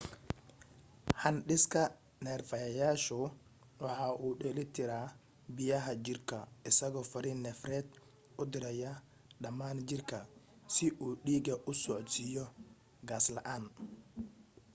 handhiska neerfayaashu waxa uu dheelitiraa biyaha jirka isagoo fariin neerfeed u diraya dhammaan jirka si uu dhiiga u socodsiiyo qas la'aan